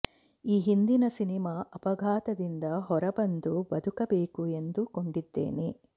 ಈ ಹಿಂದಿನ ಸಿನಿಮಾ ಅಪಘಾತದಿಂದ ಹೊರ ಬಂದು ಬದುಕಬೇಕು ಎಂದುಕೊಂಡಿದ್ದೇನೆ